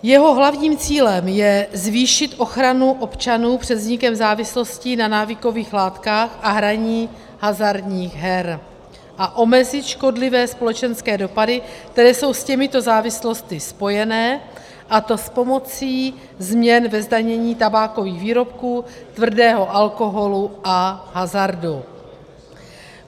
Jeho hlavním cílem je zvýšit ochranu občanů před vznikem závislostí na návykových látkách a hraní hazardních her a omezit škodlivé společenské dopady, které jsou s těmito závislostmi spojené, a to s pomocí změn ve zdanění tabákových výrobků, tvrdého alkoholu a hazardu.